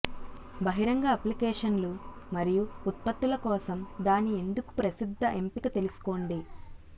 బహిరంగ అప్లికేషన్లు మరియు ఉత్పత్తుల కోసం దాని ఎందుకు ప్రసిద్ధ ఎంపిక తెలుసుకోండి